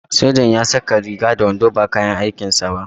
Sojan ya saka riga da wando ba kayan aikin sa ba.